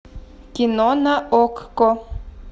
кино на окко